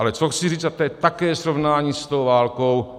Ale co chci říct, a to je také srovnání s tou válkou.